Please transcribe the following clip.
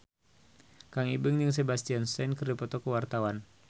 Kang Ibing jeung Sebastian Stan keur dipoto ku wartawan